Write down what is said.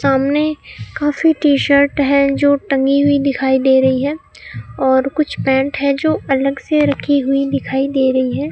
सामने काफी T shirt हैं जो टंगी हुई दिखाई दे रहीं हैं और कुछ पैंट है जो अलग से रखीं हुई दिखाई दे रहीं हैं।